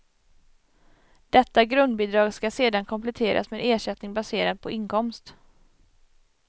Detta grundbidrag skall sedan kompletteras med ersättning baserad på inkomst.